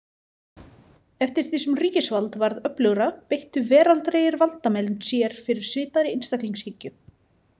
Eftir því sem ríkisvald varð öflugra beittu veraldlegir valdamenn sér fyrir svipaðri einstaklingshyggju.